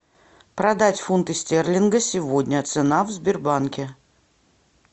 продать фунты стерлинга сегодня цена в сбербанке